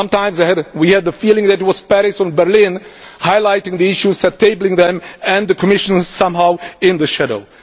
Sometimes we had the feeling that it was Paris and Berlin highlighting the issues and tabling them, and the Commission was somehow in the shadows.